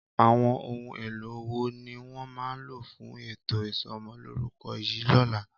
Àwọn ohun èlò wo ni wọ́n máa lò fún ètò isọmọlúrúkọ yìí lọ́la?